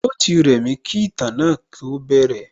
Yóò ti rẹ̀mí kí ìtàn náà tó bẹ̀rẹ̀